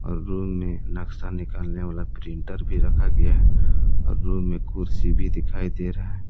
Room मे नक्शा निकलने वाला प्रिंटर भी रखा गया है और रूम में कुर्सी भी दिखाई दे रहा है।